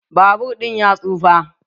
Babur ɗin ya tsufa.